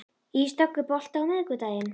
Ísdögg, er bolti á miðvikudaginn?